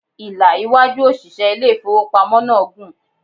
Ìlà iwájú òṣìṣẹ́ ilé ìfowópamọ́ náà gùn.